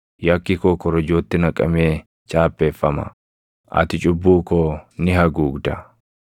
Yakki koo korojootti naqamee chaappeffama; ati cubbuu koo ni haguugda.